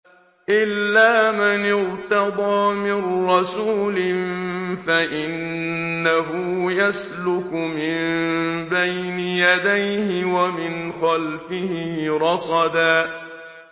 إِلَّا مَنِ ارْتَضَىٰ مِن رَّسُولٍ فَإِنَّهُ يَسْلُكُ مِن بَيْنِ يَدَيْهِ وَمِنْ خَلْفِهِ رَصَدًا